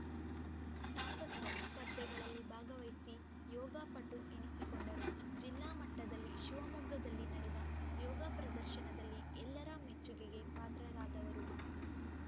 ಸಾಕಷ್ಟುಸ್ಪರ್ಧೆಗಳಲ್ಲಿ ಭಾಗವಹಿಸಿ ಯೋಗ ಪಟು ಎನಿಸಿಕೊಂಡರು ಜಿಲ್ಲಾ ಮಟ್ಟದಲ್ಲಿ ಶಿವಮೊಗ್ಗದಲ್ಲಿ ನಡೆದ ಯೋಗ ಪ್ರದರ್ಶನದಲ್ಲಿ ಎಲ್ಲರ ಮೆಚ್ಚುಗೆಗೆ ಪಾತ್ರರಾದವರು